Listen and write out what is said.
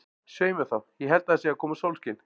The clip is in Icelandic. Svei mér þá, ég held að það sé að koma sólskin.